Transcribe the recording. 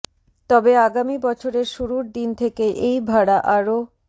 তবে আগামী বছরের শুরুর দিন থেকেই এই ভাড়া আরও